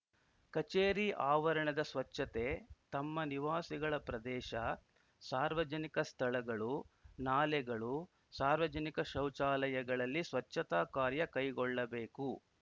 ಕಚೇರಿ ಆವರಣದ ಸ್ವಚ್ಛತೆ ತಮ್ಮ ನಿವಾಸಿಗಳ ಪ್ರದೇಶ ಸಾರ್ವಜನಿಕ ಸ್ಥಳಗಳು ನಾಲೆಗಳು ಸಾರ್ವಜನಿಕ ಶೌಚಾಲಯಗಳಲ್ಲಿ ಸ್ವಚ್ಛತಾ ಕಾರ್ಯ ಕೈಗೊಳ್ಳಬೇಕು